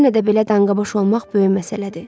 Yenə də belə danqaboyş olmaq böyük məsələdir.